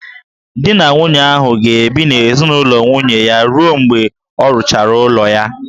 Di na nwunye ahụ ga-ebi n'ezinaụlọ nwunye ya ruo mgbe a rụchara ụlọ ha